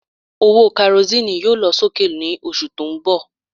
Owó Karosíìnù yóò lọ sókè ní oṣù tó ń bọ̀